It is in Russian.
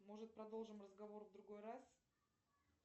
может продолжим разговор в другой раз